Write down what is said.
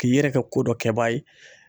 K'i yɛrɛ kɛ ko dɔ kɛ baa ye.